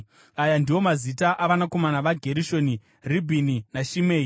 Aya ndiwo mazita avanakomana vaGerishoni: Ribhini naShimei.